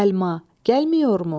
Səlma, gəlmiyormu?